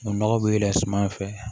Nɔgɔ bɛ yɛlɛn suman fɛ